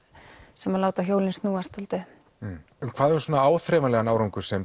sem láta hjólin snúast hvað um svona áþreifanlegan árangur sem